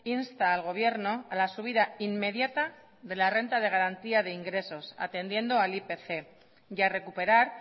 insta al gobierno a la subida inmediata de la renta de garantía de ingresos atendiendo al ipc y a recuperar